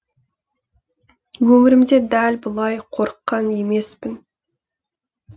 өмірімде дәл бұлай қорыққан емеспін